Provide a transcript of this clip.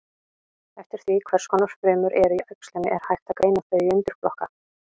Eftir því hvers konar frumur eru í æxlinu er hægt að greina þau í undirflokka.